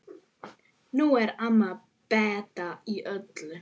Nú er amma Beta öll.